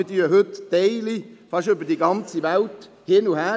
Wir schieben heute Einzelteile fast in der ganzen Welt hin und her.